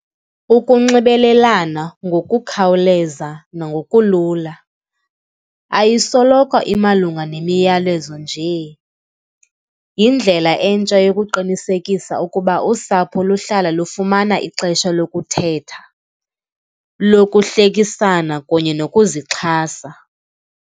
Ukunxibelelana ngokukhawuleza nangokulula, ayisoloko imalunga nemiyalezo nje. Yindlela entsha yokuqinisekisa ukuba usapho luhlala lufumana ixesha lokuthetha, lokuhlekisana kunye nokuzixhasa.